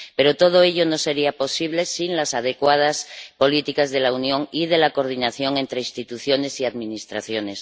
Pero todo ello no sería posible sin las adecuadas políticas de la Unión y la coordinación entre instituciones y administraciones.